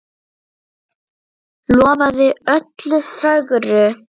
Lofaðir öllu fögru!